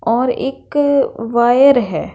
और एक वायर हैं।